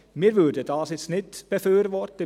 Dies würden wir nicht befürworten.